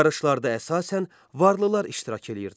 Yarışlarda əsasən varlılar iştirak edirdilər.